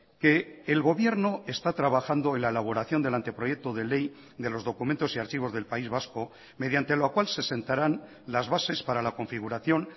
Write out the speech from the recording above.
que el gobierno está trabajando en la elaboración del anteproyecto de ley de los documentos y archivos del país vasco mediante lo cual se sentarán las bases para la configuración